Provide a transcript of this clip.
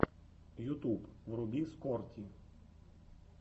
ютуб вруби скорти